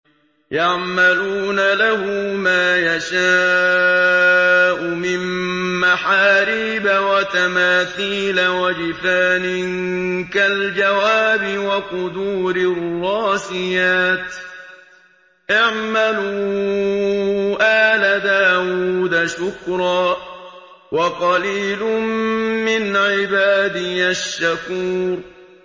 يَعْمَلُونَ لَهُ مَا يَشَاءُ مِن مَّحَارِيبَ وَتَمَاثِيلَ وَجِفَانٍ كَالْجَوَابِ وَقُدُورٍ رَّاسِيَاتٍ ۚ اعْمَلُوا آلَ دَاوُودَ شُكْرًا ۚ وَقَلِيلٌ مِّنْ عِبَادِيَ الشَّكُورُ